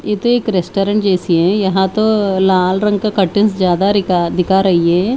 ये तो एक रेस्टोरेंट जैसी है यहां तो लाल रंग का कटिंग ज्यादा रिका दिखा दिखा रही है।